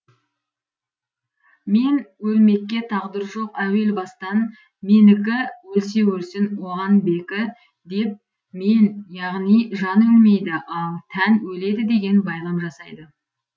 мен өлмекке тағдыр жоқ әуел бастан менікі өлсе өлсін оған бекі деп мен яғни жан өлмейді ал тән өледі деген байлам жасайды